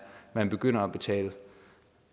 man begynder at betale